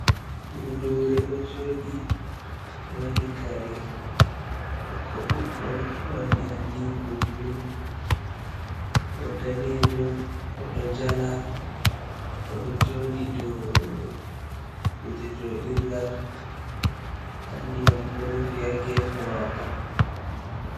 Budure ɗo jooɗi ɗo waɗi kare ɓokko ɓokko, ɗo waɗi adiiko bulu, o daneejo oɗo jala, oɗo jooɗi dou kuje joɗirgal nda ndiyam ɗo rufi ha geefe maako.